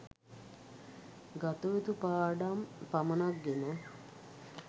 ගතයුතු පාඩම් පමණක් ගෙන